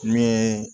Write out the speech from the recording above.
Ne ye